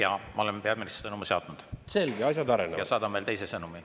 Jah, ma olen peaministrile sõnumi saatnud ja saadan veel teise sõnumi.